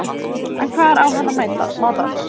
En hvar á hann að matast?